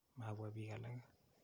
Mapwa piik alake.